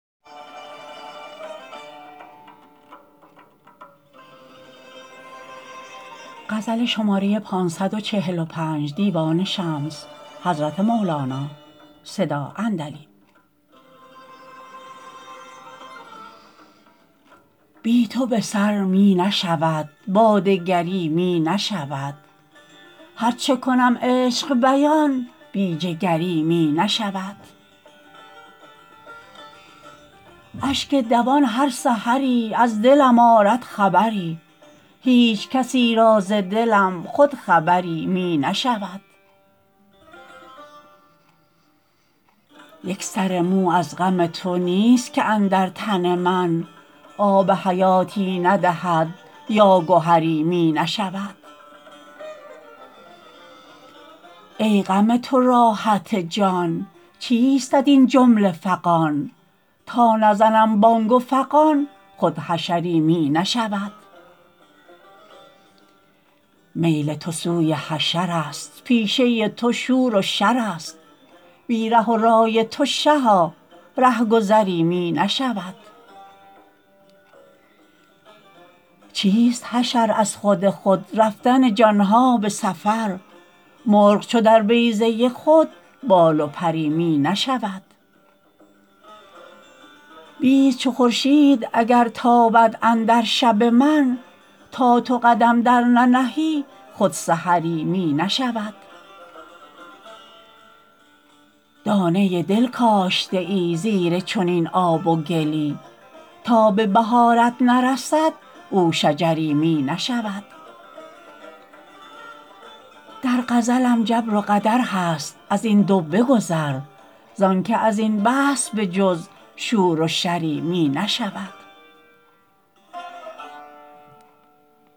بی تو به سر می نشود با دگری می نشود هر چه کنم عشق بیان بی جگری می نشود اشک دوان هر سحری از دلم آرد خبری هیچ کسی را ز دلم خود خبری می نشود یک سر مو از غم تو نیست که اندر تن من آب حیاتی ندهد یا گهری می نشود ای غم تو راحت جان چیستت این جمله فغان تا بزنم بانگ و فغان خود حشری می نشود میل تو سوی حشرست پیشه تو شور و شرست بی ره و رای تو شها رهگذری می نشود چیست حشر از خود خود رفتن جان ها به سفر مرغ چو در بیضه خود بال و پری می نشود بیست چو خورشید اگر تابد اندر شب من تا تو قدم درننهی خود سحری می نشود دانه دل کاشته ای زیر چنین آب و گلی تا به بهارت نرسد او شجری می نشود در غزلم جبر و قدر هست از این دو بگذر زانک از این بحث به جز شور و شری می نشود